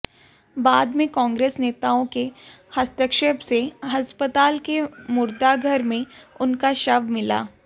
बाद में कांग्रेस नेताओं के हस्तक्षेप से अस्पताल के मुर्दाघर में उनका शव मिला